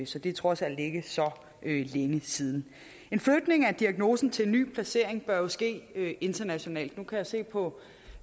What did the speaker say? så det er trods alt ikke så længe siden en flytning af diagnosen til en ny placering bør jo ske internationalt nu kan jeg se på